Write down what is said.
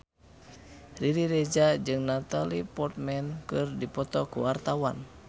Riri Reza jeung Natalie Portman keur dipoto ku wartawan